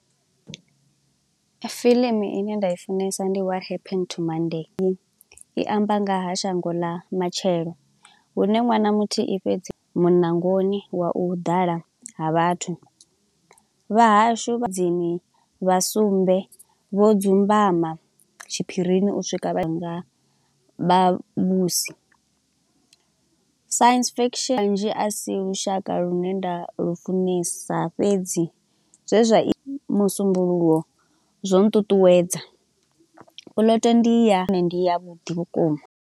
Fiḽimu ine nda i funesa what happened to monday, i amba nga ha shango ḽa matshelo. Hune ṅwana muthihi fhedzi, munangoni wa u ḓala ha vhathu, vha hashu vha tsini vha sumbe vho dzumbama tshiphirini u swika vhanga, Vhavhusi science fiction a si lushaka lune nda lufunesa fhedzi zwe zwa i musumbuluwo zwo nṱuṱuwedza. Puḽoto ndi yahone ndi ya vhuḓi vhukuma.